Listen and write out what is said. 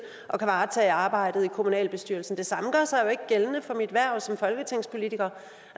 at kunne varetage arbejdet i kommunalbestyrelsen det samme gør sig jo ikke gældende for mit hverv som folketingspolitiker